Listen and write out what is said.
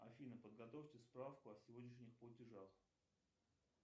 афина подготовьте справку о сегодняшних платежах